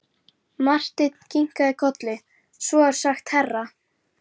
Marteinn kinkaði kolli: Svo er sagt herra.